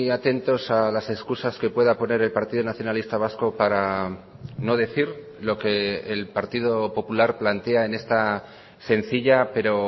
atentos a las excusas que pueda poner el partido nacionalista vasco para no decir lo que el partido popular plantea en esta sencilla pero